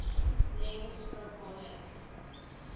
lens focal length